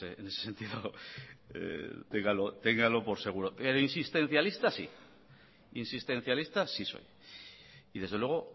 en ese sentido téngalo por seguro pero insistencialista sí soy y desde luego